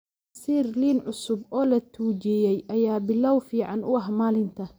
Casiir liin cusub oo la tuujiyey ayaa bilow fiican u ah maalinta.